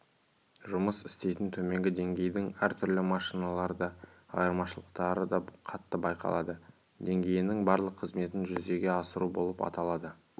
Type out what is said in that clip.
жұмыс істейтін төменгі деңгейдің әртүрлі машиналарда айырмашылықтары қатты байқалады деңгейінің барлық қызметін жүзеге асыру болып аталады